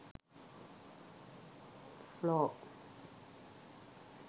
floor